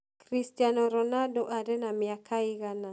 Christiano Ronaldo arĩ na mĩaka ĩigana?